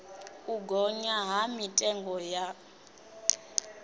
u gonya ha mitengo ya